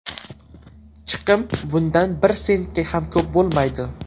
Chiqim bundan bir sentga ham ko‘p bo‘lmaydi.